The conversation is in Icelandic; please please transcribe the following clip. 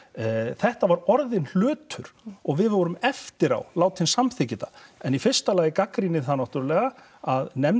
þetta var orðinn hlutur og við vorum eftir á látin samþykkja þetta en í fyrsta lagi gagnrýni ég það náttúrulega að nefndin